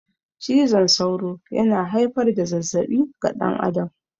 Cizon sauro yana haifar da zazzabi ga dan adam